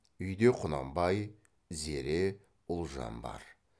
үйде құнанбай зере ұлжан бар